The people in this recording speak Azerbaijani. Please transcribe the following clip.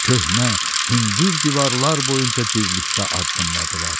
Köhnə, hündür divarlar boyunca birlikdə addımladılar.